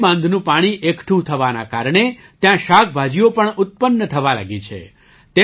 બોરી બાંધનું પાણી એકઠું થવાના કારણે ત્યાં શાકભાજીઓ પણ ઉત્પન્ન થવા લાગી છે